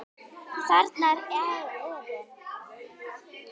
Þarna er efinn.